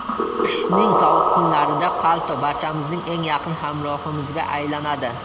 Qishning sovuq kunlarida palto barchamizning eng yaqin hamrohimizga aylanadi.